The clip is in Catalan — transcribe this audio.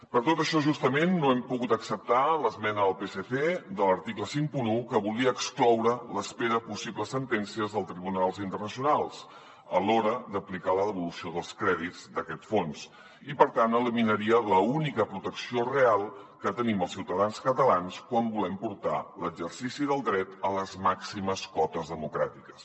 per tot això justament no hem pogut acceptar l’esmena del psc de l’article cinquanta un que volia excloure l’espera de possibles sentències dels tribunals internacionals a l’hora d’aplicar la devolució dels crèdits d’aquest fons i per tant eliminaria l’única protecció real que tenim els ciutadans catalans quan volem portar l’exercici del dret a les màximes cotes democràtiques